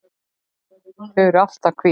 Þau eru alltaf hvít.